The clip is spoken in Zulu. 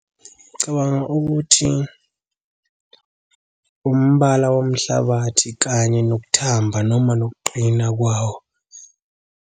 Ngicabanga ukuthi umbala womhlabathi kanye nokuthamba, noma nokuqina kwawo.